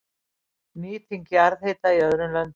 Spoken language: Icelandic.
Nýting jarðhita í öðrum löndum